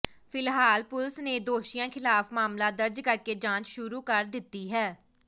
ਫਿਲਹਾਲ ਪੁਲਸ ਨੇ ਦੋਸ਼ੀਆਂ ਖਿਲਾਫ ਮਾਮਲਾ ਦਰਜ ਕਰਕੇ ਜਾਂਚ ਸ਼ੁਰੂ ਕਰ ਦਿੱਤੀ ਹੈ